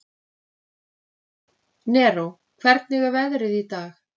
Neró, hvernig er veðrið í dag?